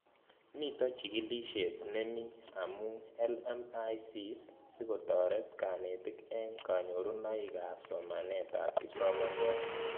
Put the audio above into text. Mito chig'ilishet nemii amu LMICs sikotaret kanetik eng kanyorunoik ab somanet ab kipsomaniat